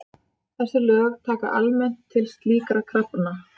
Þessi lög taka almennt til slíkra krafna.